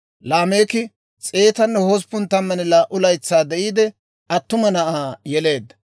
Laameeki 182 laytsaa de'iide, attuma na'aa yeleedda.